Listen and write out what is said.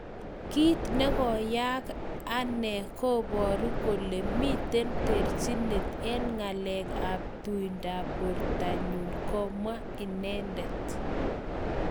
"Kiit negoyaag ag ane koporu kole miten terchinet en ngalek ap tuindap portonyun" komwa inendet.